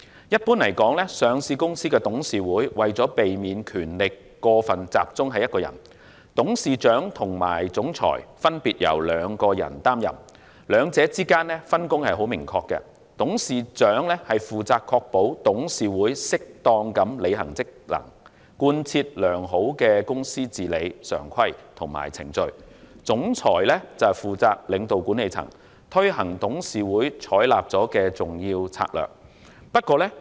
一般而言，上市公司的董事會為了避免權力過分集中，董事長和總裁分別由兩人擔任，兩者之間的分工明確，董事長負責確保董事會適當地履行職能，貫徹良好的公司治理常規及程序。總裁則負責領導管理層，推行董事會所採納的重要策略。